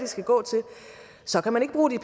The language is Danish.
skal gå til så kan man ikke bruge